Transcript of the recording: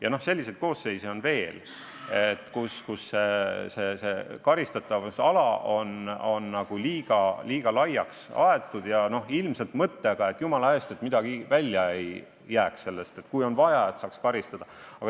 Ja selliseid koosseise on veel, kus karistatavusala on liiga laiaks aetud – ilmselt mõttega, et jumala eest midagi välja ei jääks ja kui on vaja, siis saaks karistada.